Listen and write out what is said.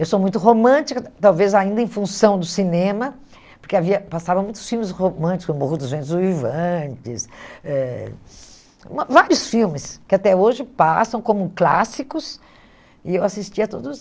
Eu sou muito romântica, talvez ainda em função do cinema, porque havia passavam muitos filmes românticos, O Morro dos Ventos do Uivantes eh, hum vários filmes que até hoje passam como clássicos, e eu assistia a todos